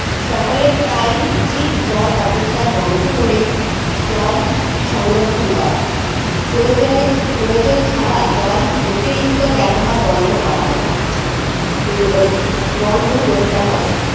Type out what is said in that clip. সকলে তাই উচিত জল অপচয় বন্ধ করে জল সংরক্ষণ করা প্রয়োজনে প্রয়োজন ছাড়া জল অতিরিক্ত ব্যবহার বন্ধ করা হবে প্রয়োগ বন্ধ করতে হবে